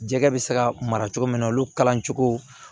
Jɛgɛ bɛ se ka mara cogo min olu kalan cogo